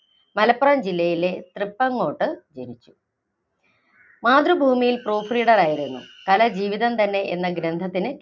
മലപ്പുറം ജില്ലയിലെ തൃപ്പങ്ങോട്ട് ജനിച്ചു. മാതൃഭൂമിയിൽ proof reader ആയിരുന്നു. കല ജീവിതം തന്നെ എന്ന ഗ്രന്ഥത്തിന്